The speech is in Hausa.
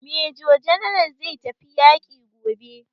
Major general zai tafi yaƙi gobe.